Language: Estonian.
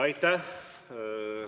Aitäh!